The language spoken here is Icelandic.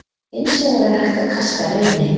Hins vegar er hægt að kasta Reyni.